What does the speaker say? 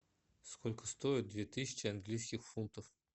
сколько стоит две тысячи английских фунтов